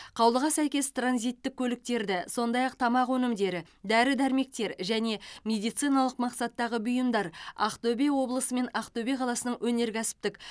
қаулыға сәйкес транзиттік көліктерді сондай ақ тамақ өнімдері дәрі дәрмектер және медициналық мақсаттағы бұйымдар ақтөбе облысы мен ақтөбе қаласының өнеркәсіптік